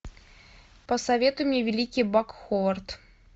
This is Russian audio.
посоветуй мне великий бак ховард